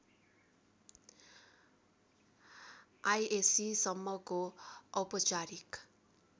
ISc सम्मको औपचारिक